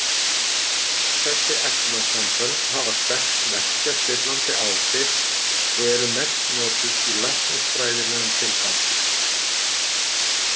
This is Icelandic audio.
Öll þessi efnasambönd hafa sterk verkjastillandi áhrif og eru mest notuð í læknisfræðilegum tilgangi.